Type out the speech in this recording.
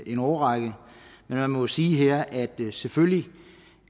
en årrække men man må sige her at det selvfølgelig